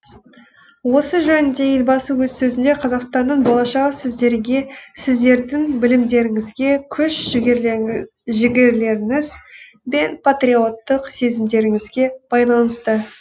осы жөнінде елбасы өз сөзінде қазақстанның болашағы сіздерге сіздердің білімдеріңізге күш жігерлеріңіз бен патриоттық сезімдеріңізге байланысты